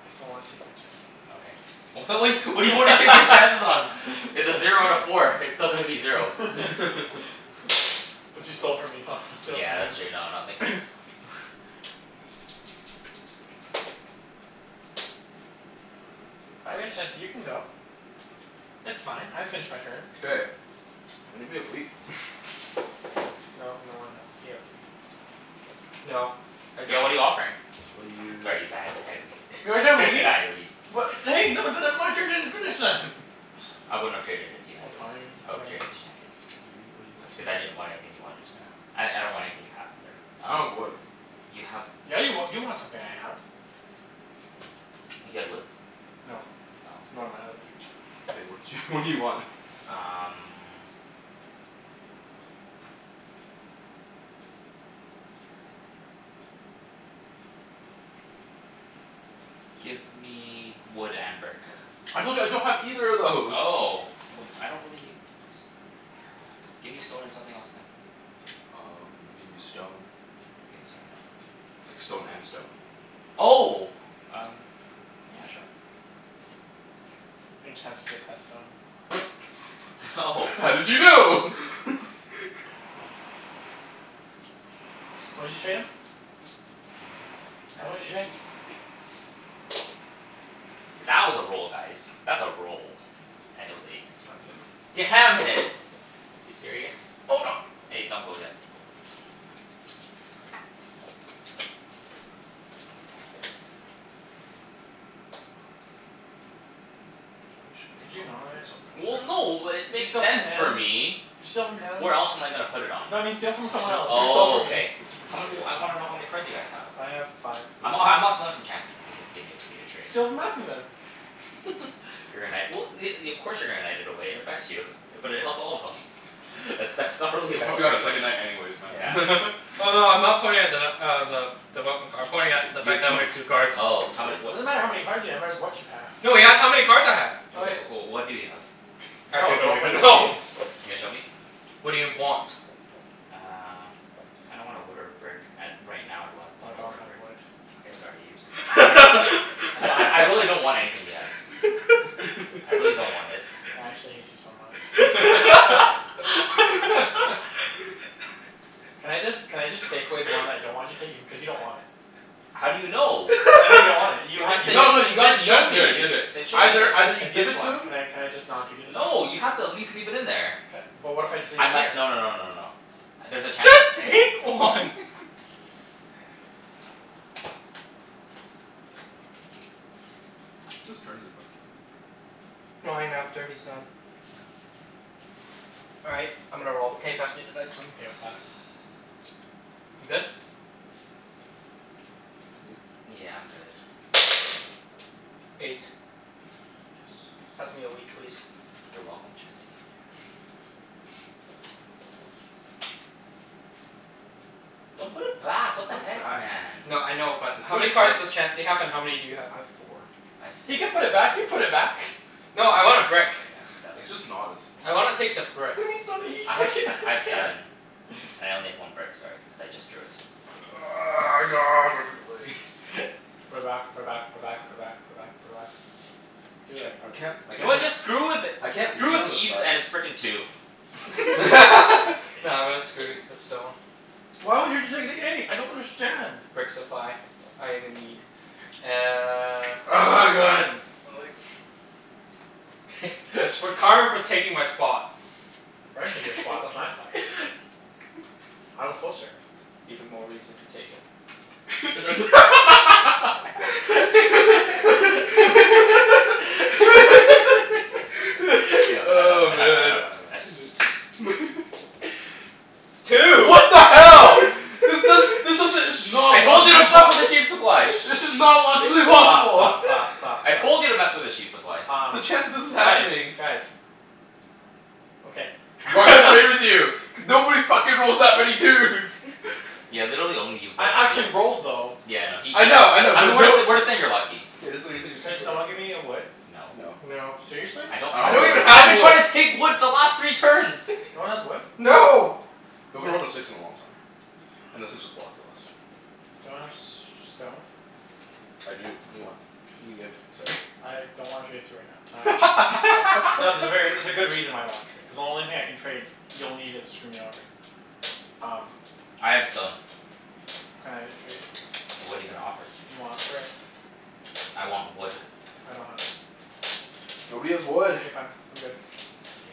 I just don't wanna take my chances. Okay. W- what what do you want to take your chances on? It's a zero out of four. It's still gonna be zero. But you stole from me so I'm gonna steal from Yeah, that's true. No, you. no, it makes sense. Five? Chancey, you can go. It's fine. I finished my turn. K, anybody have wheat? No, no one has, he has wheat. No, I Yeah. don't. What are you offering? What do you Sorry need? Ibs, I had I had wheat. You have a I wheat? had wheat. What I wouldn't have traded it to you Oh anyways. fine, I would've whatever. traded to Chancey. What do you, what do Cuz I you didn't want for it? want anything you wanted, uh I I don't want anything you have, sorry. I don't Um have wood. you have Yeah, you wa- you want something I have. You had wood? No. You Oh. want my other thing. K, what did you, what do you want? Um Give me wood and brick. I told you I don't have either of those! Oh, well I don't really need s- give me stone and something else then. Um, I'll give you stone. Okay, sorry. No, then. Like, stone and stone. Oh! Um Yeah, sure. I think Chancey just has stone. Oh. How did you know? What did you trade him? Don't worry about it. Nah, Tell me what it's you traded? wheat. It's wheat. See that was a roll, guys. That's a roll. And it was eight. God damn it. Damn it. You serious? Hold on. Hey, don't go yet. Mm. Could you not? there. Well, no, it Can you makes steal from sense for him? me. Can you steal from him? Where else am I gonna put it on? No, but steal from someone else. Don't steal Oh, from me. okay. How m- I wanna know how many cards you guys have. I have five. Three. I'm h- I'm not stealing from Chancey cuz he just gave me a pretty good trade. Steal from Mathew, then. If you're gonna knight, well y- i- of course you're gonna knight it away. It affects you. But it helps all of them. But that's not really a He'll bad probably got a second argument. knight anyways, Yeah. man. Oh, no, I'm not pointing at the nut uh, the I'm pointing at the fact that I only have two cards. three Oh. How many It what i- doesn't matter cards. how many cards w- you have, it's what you have. No, he asked how many cards I had. Okay, Okay. o- oh what do you have? Actually, No, I don't don't play even this know. game. You gonna show me? What do you want? Uh I don't want a wood or a brick, at right now I'd wa- Oh, I a don't wood or a have brick. wood. Okay, sorry Ibs. I I'd don't I I have really wood. don't want anything he has. I really don't want its. I actually hate you so much. Can I just, can I just take away the one that I don't want you to take? Cuz you don't want it. How do you know? Cuz I know you don't want it. You You had, did you did No no, just you you gotta didn't you show gotta me. do it. You gotta do it. Then show me. Either either you It's give this it to one. him Can I can I just not give you this one? No, you have to at least leave it in there. Ca- but what if I just leave I it mi- here? no no no no no no. There's a chance I Just take one. Whose turn is it, by the way? Mine, after he's done. All right. I'm gonna roll. Can you pass me the dice? I'm okay with that. You good? You good? Yeah, I'm good. Eight. Yes. Pass me a wheat please? You're welcome, Chancey. Thank you. Don't put it back. You What the put heck, back, man. man? No, I know, but There's how no many cards excite- does Chancey I have and how many do you have? I have four. I have He six. can put it back. You put it back. No, I want a can brick. I have seven? It's just not as I fun. wanna take the brick. I had s- I have seven. I only have one brick, sorry, cuz I just drew it. God Put it back. Put it back. Put it back. Put it back. Put it back. Put it back. Do it. I I can't I You know can't what? like Just screw with it. I can't Screw leave with on this Ibs side. and his frickin' two. Nah, I'm gonna screw with the stone. I don't understand. Brick supply. I am in need. Uh Oh my god, my legs. It's for karma for taking my spot. I didn't take your spot. That's my spot. I was closer. Even more reason to take it. Oh, man. Two! What the hell? This does, Shh. Shh. this doesn't it's not I told you to fuck with the sheep supply! This is not logically possible. Stop, stop, stop, stop, stop. I told you to mess with the sheep supply. Um, The chance that this is guys, happening. guys. Okay. I'm not gonna play with you. Cuz nobody fucking rolls that many twos! Yeah, literally only you've rolled I twos. actually rolled, though. Yeah, I know. He, I know, yeah I know, I know but we're no jus- we're just saying you're lucky. Yeah, just we're saying you're Can super someone lucky. give me a wood? No. No. No. Seriously? I I don't don't I have have don't wood. even wood. I've have been wood. trying to take wood the last three turns. No one has wood? No. No! We haven't rolled a six in a long time. And the six was blocked the last time. Do you want a s- stone? I do. What do you want? Can you give? Sorry. I don't wanna trade it to you right now. Not No, there's a ver- there's a good reason why I don't wanna trade. Cuz the only thing I can trade, you'll need it to screw me over. Um I have a stone. Can I trade you? What are you gonna offer? You want a brick. I want wood. I don't have wood. Nobody has wood. Okay fine, I'm good. Okay.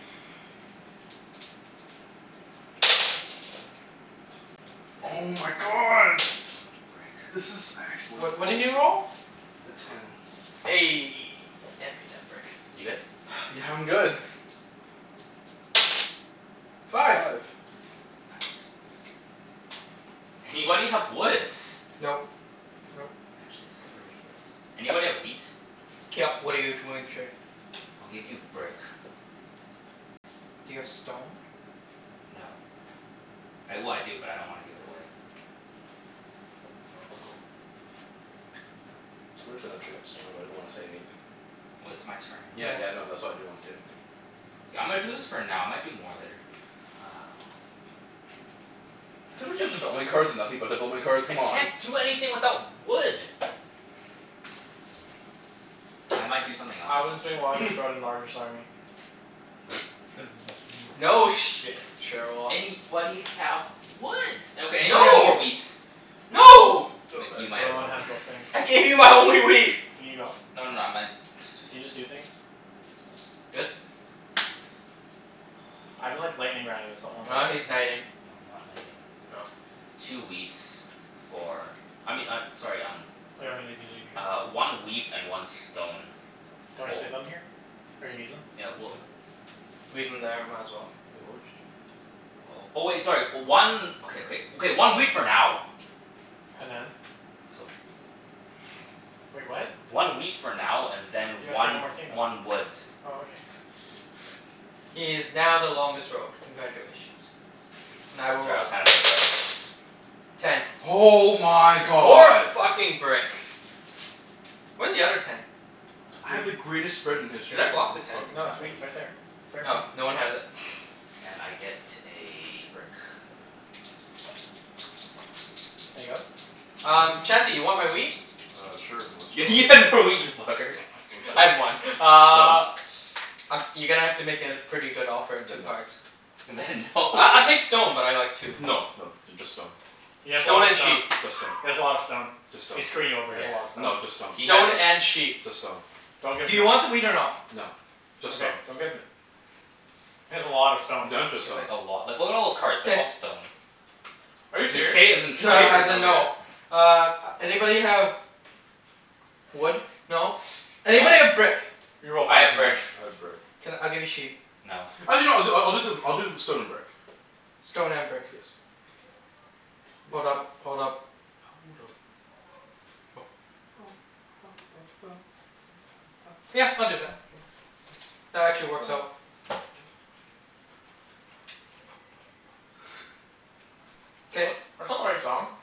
Oh Ten. my god! So much brick. This is actually What what did bullshit. you roll? A ten. Eh, hand me that brick. You good? Yeah, I'm good. Five. Five. Anybody have woods? Nope. Nope. Actually, this is ridiculous. Anybody have wheat? K, yep. What are you t- willing to trade? I'll give you brick. Do you have stone? No. I, well, I do, but I don't wanna give it away. It's worth in a trade for stone, but I didn't wanna say anything. Well, it's my turn anyways. Yeah, Yes. yeah, no. That's why I didn't wanna say anything. K, I'm gonna do this for now. I might do more later. Uh. Does somebody have Ah, development cards and shit. nothing but development cards? I Come on. can't do anything without wood. I might do something else. Alvin's doing army. No shit, Sherlock. Anybody have woods? Okay, anybody have more No! wheats? No! But you might No have one more wheat. has those things. I gave you my only wheat. Aw, Can you go? no no, I might Can you just do things? Good? I've been like lightning rounding this the whole Ah, entire No, he's no, game. knighting. I'm not knighting. Oh. Two wheats for I mean I, sorry, um leave it Uh, here? one wheat and one stone Do you wanna just fo- leave them here? Or you need them? Yeah, Just well leave them? Leave them there. Might as well. Wait, what would you do? Oh, oh wait, sorry. One Okay, okay. Okay, one wheat for now. And then? So Wait, what? One wheat for now and then You have to take one one more thing, though. one wood. Oh, okay. He is now the longest road. Congratulations. And I will Sorry, I was roll. kinda brain farting. Ten. Oh my More god! fucking brick. Where's the other ten? I had the Wheat. Ah greatest spread in Should history I and block then the this ten? fucking No, it's Oh. wheat happens. right there. It's right in Oh, front of no you. one has it. And I get a brick. No. Can I go? Um, Mhm. Chancey? You want my wheat? Uh, sure. Y- You you want stone? had more wheat, you fucker. Want I stone? had one. Stone? Uh Um, you're gonna have to make it a pretty good offer at two Then no. cards. Then no. I I'll take stone, but I like two. No no, th- just stone. He has a lot Stone of and stone. sheep. Just stone. He has a lot of stone. Just stone. He's screwing you over. He has a lot Yeah. of stone. No, just stone. He has Stone a l- and sheep. Just stone. Don't give Do him you it. want the wheat or no? No. Just Okay. stone. Don't give him it. He has a lot of stone. He No, just has like stone. a lot. Like what are all those cards? They're K. all stone. Are you Is it "k" as serious? in No no, trade, or as in no no. k? Uh, anybody have wood? No? No. Anybody have brick? You will I find have brick. someone. I have brick. Can, I'll give you sheep. No. Actually no, I'll do I I'll do the I'll do stone and brick. Stone and brick. Yes. That's Hold up. right. Hold up. Hold up. Yeah, I'll do that. That actually works out. That's K. not, that's not the right song.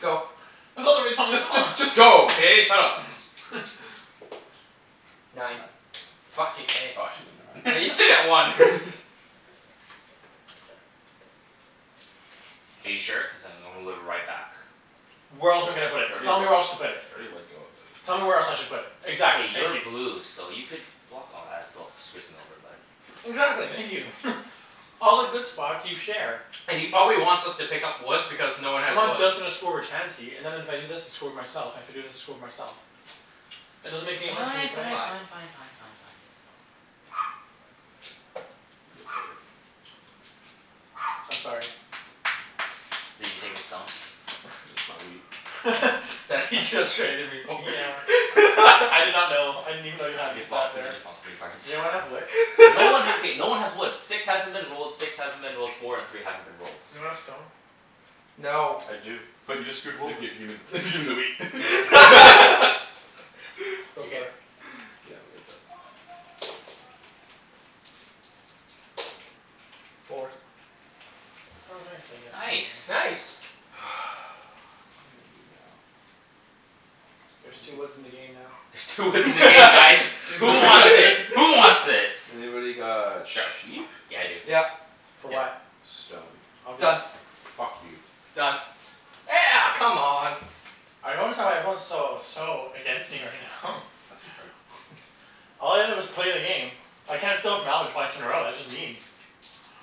Go. That's not the right song at Just all. just just go, okay? Shut up. Nine. Nine. Fucking eh. Oh actually no, never Yeah, you still get one. mind. Are you sure? Cuz I'm gonna move it right back. Where else am I K. gonna put You it? Tell me already where else let to put You it. already let go of it. Tell me where else I should put it? K, Exactly. Thank you're you. blue so you could block, oh that still f- screws me over but Exactly. Thank you. All the good spots, you share. And he probably wants us to pick up wood because no one I'm has not wood. just gonna screw over Chancey and then if I do this I screw with myself and if I do this, I screw with myself. It doesn't Fine, make any sense for me to fine, put fine, Five. anywhere. fine, fine, fine, fine. Yep, okay. I'm sorry. Did you take his stone? Just my wheat. That he just traded me for. Yeah. I did not know. I didn't even know you had You just lost that thr- you there. just lost three cards. Does anyone have wood? No one ha- okay, no one has woods. Six hasn't been rolled, six hasn't been rolled, four and three haven't been rolled. Does anyone have stone? No. I do. But you just screwed If him over. if you gimme the gimme the wheat. No. Go You good? for it. Yeah, I'm good. Pass. Four. Oh, nice. I get Nice. something. Nice. What am I gonna do now? There's two woods in the game now. There's two woods in the game, guys! Who wants Two it? Who wants its? Anybody got sheep? Yeah, I do. Yep. For Yep. what? Stone. I'll do Done. it. Fuck you. Done. Eh a- come on! I notice how everyone's so so against me right now. Pass me a card. All I did was play a game. I can't steal off Alvin twice in a row. That's just mean.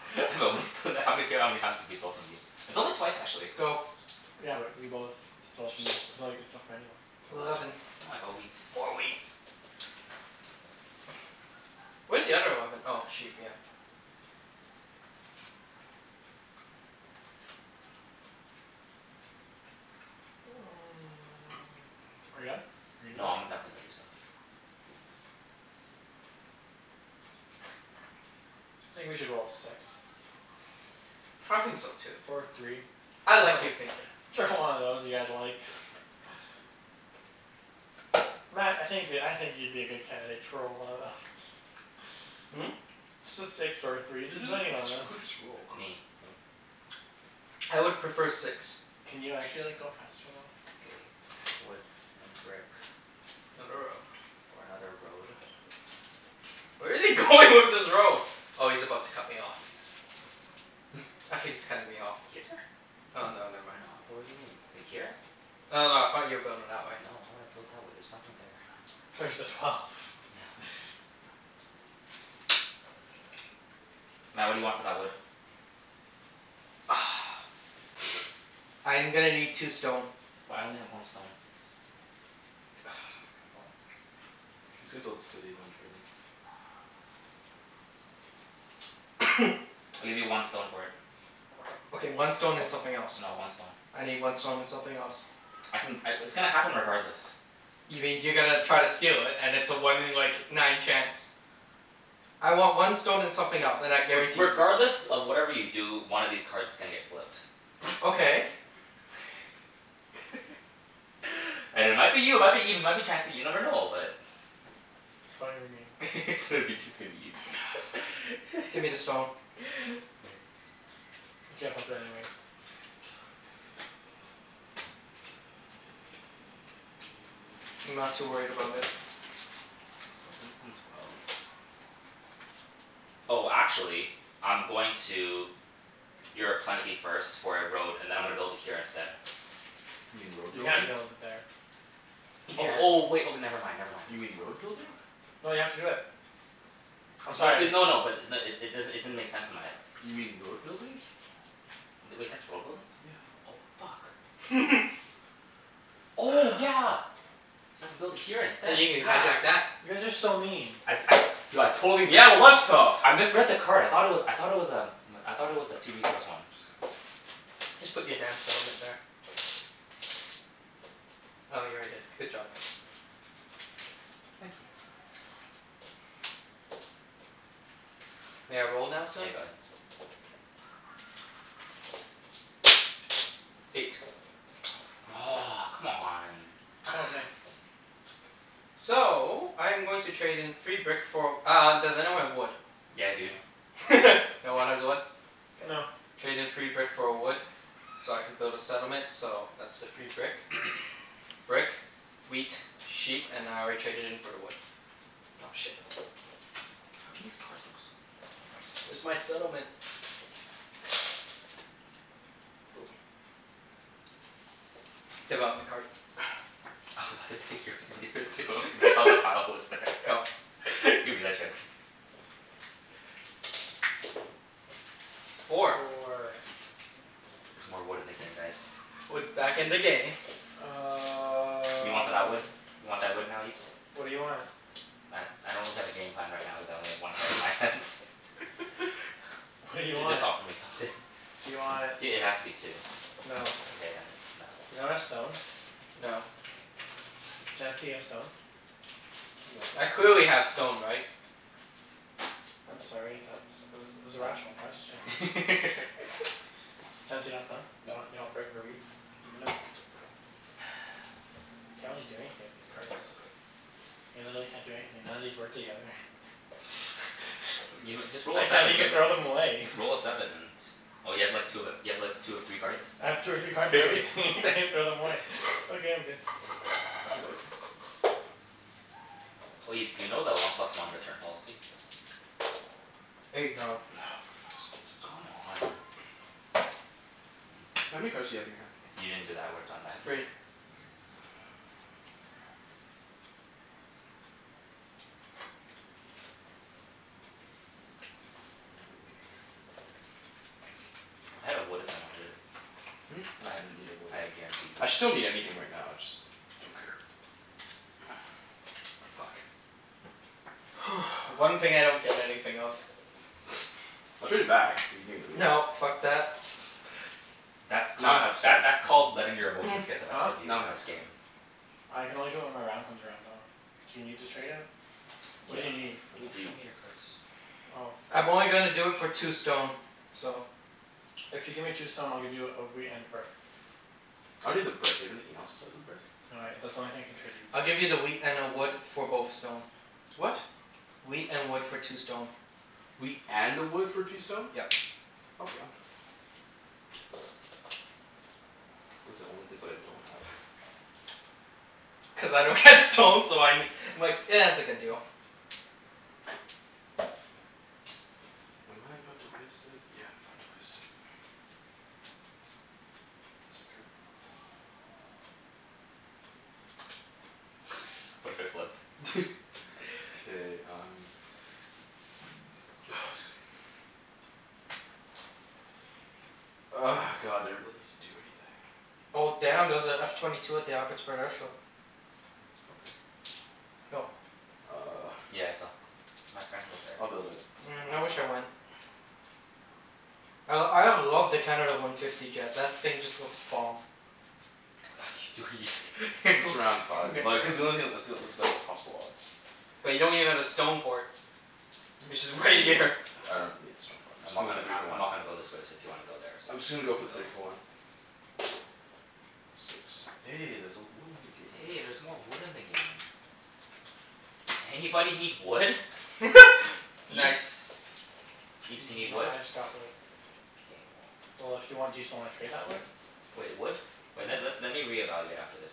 But we sto- how many f- how many times have we stole from you? It's only twice, actually. Go. Yeah, but you both stole from me. Even though you could steal from anyone. Eleven. Eleven. Oh, I got wheat. More wheat. Where's the other eleven? Oh, sheep, yeah. Are you done? Are you gonna No, do anything? I'm go- definitely gonna do stuff. I think we should roll a six. I think so, too. Or a three. I like your thinking. Whichever one of those you guys like. Mat, I think you could, I think you'd be a good candidate to roll one of those. Hmm? Just a six or a three. Just Who j- who any one of jus- who those. just rolled? Me. Oh. I would prefer six. Can you actually like, go faster, though? K. Wood and brick. For another road. Where is he going with this road? Oh, he's about to cut me off. I think he's cutting me off here. Here? Oh no, never mind. No. W- what do you mean? Like, here? No, no, I thought you were building that way. No, why would I build that way? There's nothing there. There's the twelve. No. Mat, what do you want for that wood? I'm gonna need two stone. Well I only have one stone. Come on. He's gonna build a city. Don't trade him. I'll give you one stone for it. Okay, one stone and something else. No, one stone. I need one stone and something else. I can c- w- it's gonna happen regardless. You mean you're gonna try to steal it and it's a one in like, nine chance. I want one stone and something else, and I- I re- guarantee you regardless of whatever you do, one of these cards is gonna get flipped. Okay. And it might be you, it might be Ibs, it might be Chancey, you never know. But It's probably gonna be me. It's gonna be, it's gonna be Ibs. Ah, fine. Give me the stone. You can't flip it anyways. I'm not too worried about it. Elevens and twelves. Oh, actually I'm going to you're a plenty first for a road, and then I'm gonna build it here instead. You mean road You can't building? build it there. You Oh, can't. oh wait, oh never mind, never mind. You mean Fuck. road Fuck. building? No, you have to do it. I'm No b- sorry. no no, but i- n- it does'n- it didn't make sense in my head. You mean road building? Th- wait, that's road building? Yeah. Oh fuck. Oh yeah! So I can build it here instead. You can Yeah. hijack that. You guys are so mean. I'd I du- I totally missed Yeah, well, it. that's tough. I misread the card. I thought it was, I thought it was um I thought it was a two resource one. Just go. Just put your damn settlement there. Oh, you already did. Good job. Thank you. May I roll now, sir? Yeah, go ahead. K. Eight. Oh fuck. Aw, come on. Oh, nice. So, I'm going to trade in free brick for uh, does anyone have wood? Yeah dude. No. No one has wood? K. No. Trade in free brick for a wood so I can build a settlement so that's the free brick. Brick, wheat, sheep, and I already traded in for the wood. Oh, shit. How come these cards look so Where's my settlement? Boom. Development card. I was about to take yours and give it to him cuz I thought the pile was there. Go. Give me that Chancey. Four. Four. There's more wood in the game, guys. Wood's back in the game. What do you want for that wood? Um You want that wood now, Ibs? What do you want? I I don't really have a game plan right now cuz I only have one card in my hands. What do you J- just want? offer me something. Do you want I- it has to be two. No. Okay then, no. Does anyone have stone? No. Chancey, you have stone? No. I clearly have stone, right? I'm sorry, that was, it was it was a rational question. What? Chancey, you got stone? You want you Nope. want brick or wheat? Nope. I can't really do anything with these cards. I literally can't do anything. None of these work together. You know, just roll I a can't seven, you even get throw w- them away. Just roll a seven and Oh, you have like two of ev- you have like two of three cards? I have two or three cards of everything. I can't even throw them away. Okay, I'm good. Pass the dice then. Oh, Ibs, do you know the one plus one return policy? Eight. No. For fuck's sakes. Come on. Mm. How many cards do you have in your hand? If you didn't do that I would've done that. Three. Three? All right, gimme a card. I had a wood if you wanted it. Hmm? I No, ha- I didn't need a wood. I had a guaranteed I wood. actually don't need anything right now. I just don't care. Fuck. The one thing I don't get anything of. I'll trade it back if you gimme the wheat. No, fuck that. That's Now called, I have that stone. that's called letting your emotions get the best Huh? of you Now I in have this stone. game. I can only do it when my round comes around, though. Do you need to trade it? What Yeah. do you need? I need Don't show wheat. me your cards. Oh. I'm only gonna do it for two stone. So If you give me two stone I'll give you a wheat and a brick. I don't need the brick. Do you have anything else besides the brick? No, I, that's the only thing I can trade you. I'll give you the wheat and a wood for both stone. What? Wheat and wood for two stone. Wheat and a wood for two stone? Yep. Okay, I'm done. Those are the only things that I don't have. Cuz I don't get stone so I ne- I'm like, it's a good deal. Am I about to waste it? Yeah, I'm about to waste it. Pass a card? What if I flipped? K, I'm Ah, excuse me. God, I don't really need to do anything. Oh damn, there's a F twenty two at the Abbotsford Air Show. Okay. Yo. Uh Yeah, I saw. My friend was there. I'll build it. Mm, Why I not? wish I went. I l- I love the Canada one fifty jet. That thing just looks bomb. What you do- Just around five. Like cuz the only thing, that's the onl- that's the best possible odds. But you don't even have a stone port. Which Hmm? is right here. I don't need the stone port. I'm I'm just not gonna go for gonna, three I for I'm one. not gonna go this way, so if you wanna go there I'm just gonna you go for can the three go. for one. Six. Hey, there's a wood in the game now. Hey, there's more wood in the game. Anybody need wood? Ibs? Nice. Ibs, you Even need though wood? I just got wood. K, well Well, if you want, do you still wanna trade that wood? Wait, wood? Wait, let's Yeah? let me reevaluate after this.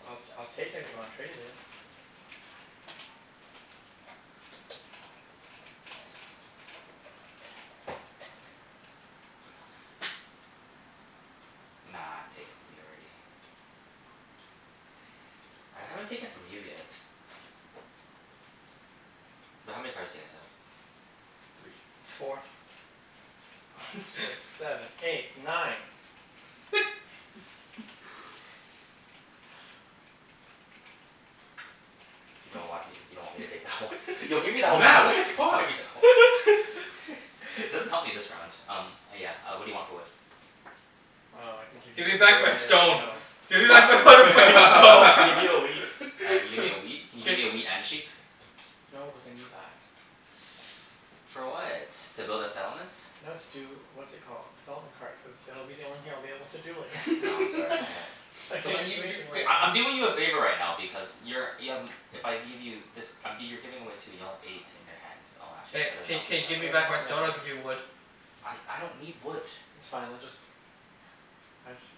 I'll t- I'll take it if you wanna trade it. Nah, I've taken from you already. I haven't taken from you yet. But how many cards do you guys have? Three. Four. Five six seven eight nine. You don't want me, you don't want me to take that one? Yo, give me that one. Mat! What the Give fuck? me that one. It doesn't help me this round. Um, uh yeah, uh what do you want for wood? Um, I can give you Give me the, back my stone. no. Give me back my mother fucking I stone. can give you a wheat. Uh, you give me a wheat? Can you give me a Gi- wheat and a sheep? No, cuz I need that. For what? To build a settlement? No, to do, what's it called? Development cards, cuz it'll be the only thing I'll be able to do later. No, sorry, I have I Come can't on, even you do you anything Okay, later. I I'm doing you a favor right now because you're y- um if I give you this um, g- you're giving away two. You'll have eight in your hands. Oh, actually, Hey, that doesn't k help k you That give me doesn't that much. back help my me stone, I'll give you that much. wood. I I don't need wood. It's fine, let just I just